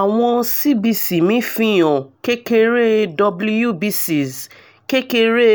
awọn cbc mi fihan kekere wbcs kekere